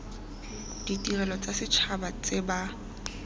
ditirelo tsa setšhaba tse ba